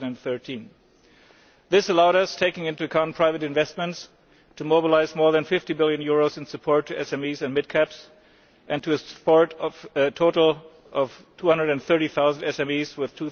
2013. This allowed us, taking into account private investment, to mobilise more than EUR50 billion in support of SMEs and mid caps and to support a total of 230000 SMEs with